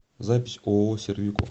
запись ооо сервико